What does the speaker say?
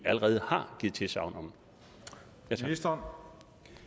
allerede har givet tilsagn om